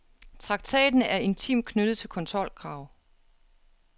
Traktaten er intimt knyttet til kontrolkrav.